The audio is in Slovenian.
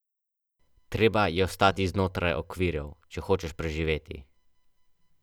Zato se le potrudite in načnite pogovor.